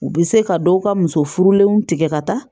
U bɛ se ka dɔw ka muso furulenw tigɛ ka taa